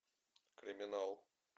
криминал